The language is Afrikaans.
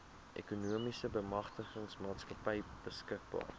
ekonomiese bemagtigingsmaatskappy beskikbaar